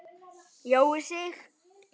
Jói Sig.